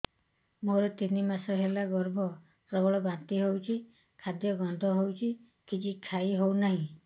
ମୋର ତିନି ମାସ ହେଲା ଗର୍ଭ ପ୍ରବଳ ବାନ୍ତି ହଉଚି ଖାଦ୍ୟ ଗନ୍ଧ ହଉଚି କିଛି ଖାଇ ହଉନାହିଁ